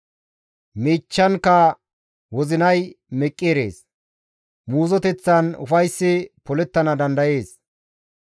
Miichchankka wozinay meqqi erees; muuzoteththan ufayssi polettana dandayees.